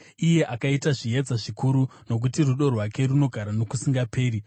iye akaita zviedza zvikuru, Nokuti rudo rwake runogara nokusingaperi.